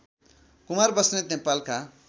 कुमार बस्नेत नेपालका